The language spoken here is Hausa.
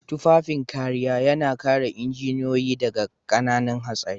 Tufafin kariya yana kare injiniyoyi daga ƙananan hatsari.